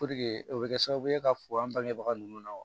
o bɛ kɛ sababu ye ka fɔ an bangebaga ninnu na wa